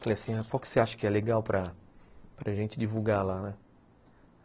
Falei assim, qual que você acha que é legal para gente divulgar lá, né?